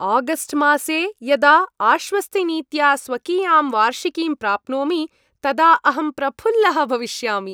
August मासे यदा आश्वस्तिनीत्या स्वकीयां वार्षिकीं प्राप्नोमि तदा अहं प्रफुल्लः भविष्यामि।